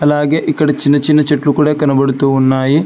అలాగే ఇక్కడ చిన్న చిన్న చెట్లు కూడా కనబడుతూ ఉన్నాయి.